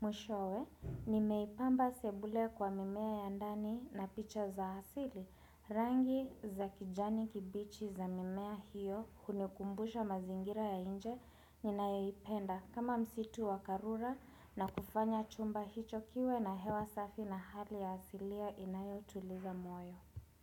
Mwishowe ni meipamba sebule kwa mimea ya ndani na picha za asili Rangi za kijani kibichi za mimea hiyo hunikumbusha mazingira ya nje ninayoipenda kama msitu wa karura na kufanya chumba hicho kiwe na hewa safi na hali ya asilia inayo tuliza moyo.